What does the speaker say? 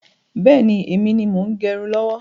Bẹ́ẹ̀ni, èmi ni mo ń gẹrun lọ́wọ́